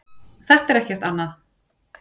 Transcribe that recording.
Þetta er ekkert annað.